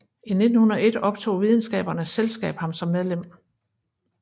I 1901 optog Videnskabernes Selskab ham som medlem